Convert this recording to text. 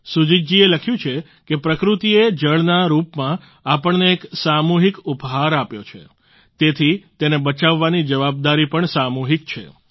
સુજીત જી એ લખ્યું છે કે પ્રકૃતિએ જળના રૂપમાં આપણને એક સામૂહિક ઉપહાર આપ્યો છે તેથી તેને બચાવવાની જવાબદારી પણ સામૂહિક છે